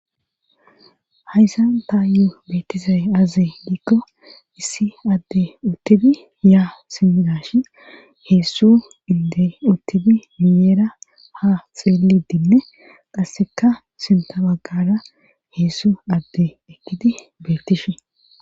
Hayssan tayo beettizay aaze giikko iisi addey uttidi yaa simmi haa heezu inddey uttidi miyyera ha xeellidinne qasseka sintta baggaara heezu addey eqqidi beettishe.